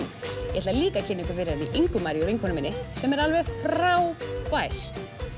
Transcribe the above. ég ætla líka að kynna ykkur fyrir Ingu Maríu vinkonu minni sem er alveg frábær